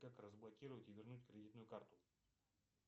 как разблокировать и вернуть кредитную карту